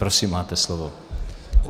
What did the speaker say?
Prosím, máte slovo.